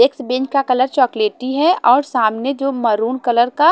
एक्सबिन का कलर चॉकलेटी है और सामने जो मरून कलर का--